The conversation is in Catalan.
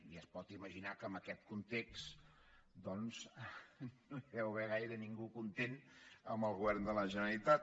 ja es pot imaginar que amb aquest context doncs no hi deu haver gaire ningú content amb el govern de la gene·ralitat